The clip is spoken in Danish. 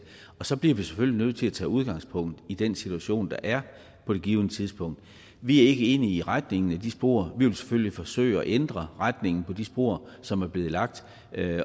og så bliver vi selvfølgelig nødt til at tage udgangspunkt i den situation der er på det givne tidspunkt vi er ikke enige i retningen af de spor vi vil selvfølgelig forsøge at ændre retningen af de spor som er blevet lagt